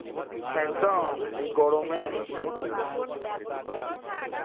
একদম এই গরমে